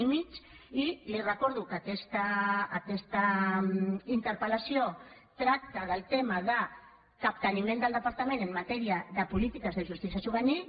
i li recordo que aquesta interpel·lació tracta del tema del capteniment del departament en matèria de polítiques de justícia juvenil